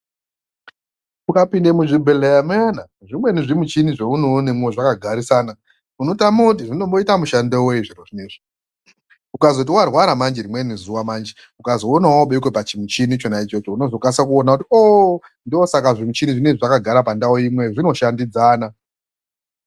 Ukapinde muzvibhedhleya muyana, zvimweni zvimuchini zvaunoonemwo zvakagarisana, unotame kiti zvinomboita mushando wei zviro zvinozvi. Ukazoti warwara manje rimweni zuwa manje, ukazoona wobekwa pachimuchini chinechi, unozokasike kuono kuti oh, ndosaka zvimuchini izvi zvakagare pandau imweyo, zvinoshandidzana.